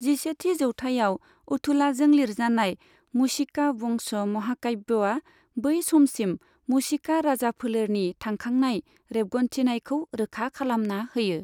जिसेथि जौथाइआव अथुलाजों लिरजानाय मुशिका.वंश महाकाव्यआ, बै समसिम मुशिका राजा फोलेरनि थांखांनाय रेबगन्थिनायखौ रोखा खालामना होयो।